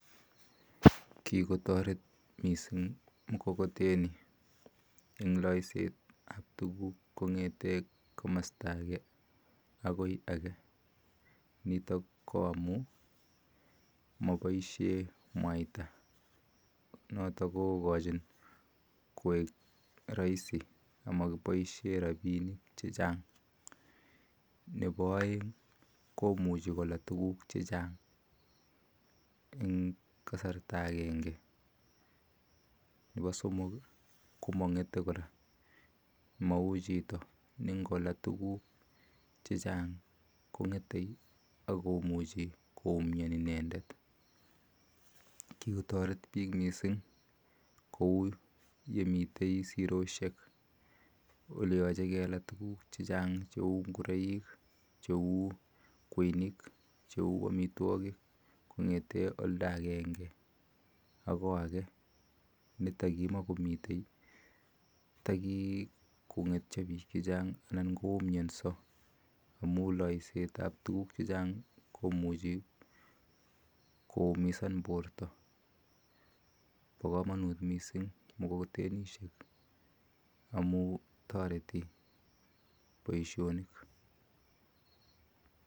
Kikotoret mising mukokoteni eng loisetap tuguk kong'ete komasta ake akoi ake, nitok ko amu maboishe mwaita notok kokochin kwek rahisi amakoboishe rabinik chechang. Nepo oeng komuchi kola tuguk chechang eng kasarta akenge. Nepo somok ko mang'ete kora, mau chito ne ngola tuguk chechang kong'ete akomuchi koumian inendet. Kikotoret biik mising kou yemite siroshek oleyoche kela tuguk chechang cheu ngureik cheu kweinik cheu amitwokik kong'ete olda akenge akoi ake ni takimakomitei takikong'etyo biik chechang anan koumionso amu loisetap tuguk chechang komuchi koumisan borto. Po komonut mising mukokotenishek amu toreti boishonik.